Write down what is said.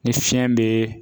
Ni fiɲɛ be